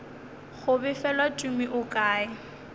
go befelwa tumi o kae